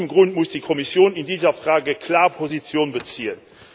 Aus diesem Grund muss die Kommission in dieser Frage klar Position beziehen.